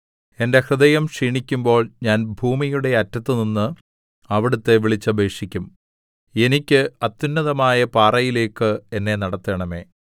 എന്റെ ഹൃദയം ക്ഷീണിക്കുമ്പോൾ ഞാൻ ഭൂമിയുടെ അറ്റത്തുനിന്ന് അവിടുത്തെ വിളിച്ചപേക്ഷിക്കും എനിക്ക് അത്യുന്നതമായ പാറയിലേക്ക് എന്നെ നടത്തണമേ